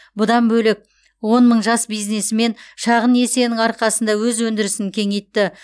бұдан бөлек он мың жас бизнесмен шағын несиенің арқасында өз өндірісін кеңейтті